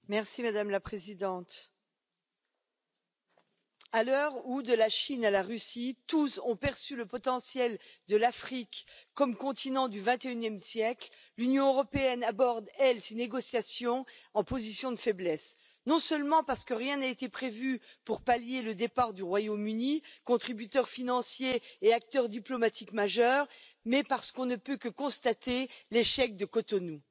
Madame la Présidente, à l'heure où, de la Chine à la Russie, tous ont perçu le potentiel de l'Afrique comme continent du XXIe siècle, l'Union européenne, quant à elle, aborde ces négociations en position de faiblesse, non seulement parce que rien n'a été prévu pour pallier le départ du Royaume Uni, contributeur financier et acteur diplomatique majeur, mais parce qu'on ne peut que constater l'échec de Cotonou.